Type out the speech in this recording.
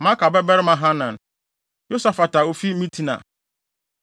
Maaka babarima Hanan; Yosafat a ofi Mitna;